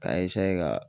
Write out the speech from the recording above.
K'a ka